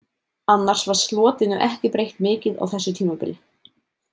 Annars var Slotinu ekki breytt mikið á þessu tímabili.